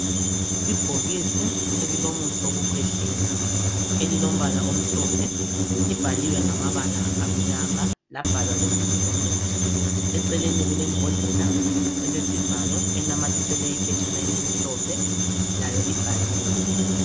Ibhokisi elilomuthi wokukhwehlela lilombala omhlophe libhaliwe ngamabala amnyama labhalwa lebizo lomuthi. Eceleni kulembodlela elesivalo enamathiselwe iphetshana elimhlophe layo ibhaliwe.